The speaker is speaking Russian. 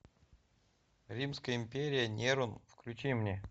римская империя нерон включи мне